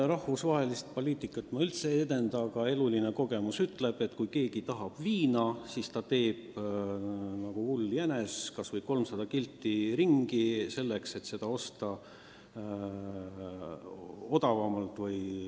Rahvusvahelist poliitikat ma üldse ei aja, aga elukogemus ütleb, et kui keegi tahab viina, siis ta teeb nagu hull jänes kas või 300 kilti pika ringi, et seda odavamalt osta.